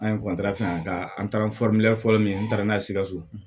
An ye fɛngɛ an taara fɔlɔ min ye n taara n'a ye sikaso